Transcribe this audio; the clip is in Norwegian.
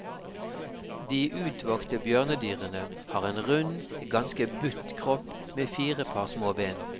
De utvokste bjørnedyrene har en rund, ganske butt kropp med fire par små ben.